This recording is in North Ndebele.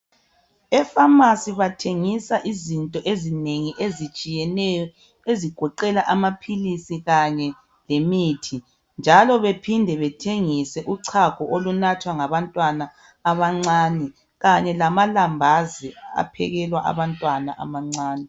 Efamasi bathengisa izinto ezinengi ezitshiyeneyo ezigoqela amaphilisi kanye lemithi. Baphinda bathengise uchago olunathwa ngabantwana abancane kanye lelambazi.